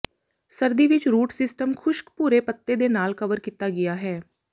ਸਰਦੀ ਵਿੱਚ root system ਖੁਸ਼ਕ ਭੂਰੇ ਪੱਤੇ ਦੇ ਨਾਲ ਕਵਰ ਕੀਤਾ ਗਿਆ ਹੈ